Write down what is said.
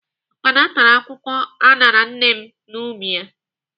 Ukpana tara akwụkwọ aṅara nne n'ubi ya.